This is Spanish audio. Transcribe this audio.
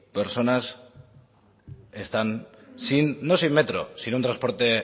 personas están sin no sin metro sin un transporte